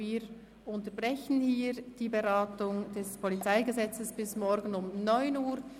Wir unterbrechen hier die Beratung des PolG bis morgen um 9 Uhr.